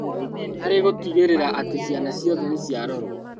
Harĩ gũtigĩrĩra atĩ ciana ciothe nĩciarorwo